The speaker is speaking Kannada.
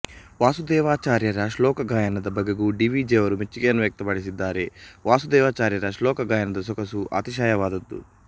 ವಾಸುದೇವಾಚಾರ್ಯರ ಶ್ಲೋಕ ಗಾಯನದ ಬಗೆಗೂ ಡಿ ವಿ ಜಿಯವರು ಮೆಚ್ಚುಗೆಯನ್ನು ವ್ಯಕ್ತಪಡಿಸಿದ್ದಾರೆ ವಾಸುದೇವಾಚಾರ್ಯರ ಶ್ಲೋಕ ಗಾಯನದ ಸೊಗಸು ಅತಿಶಯವಾದದ್ದು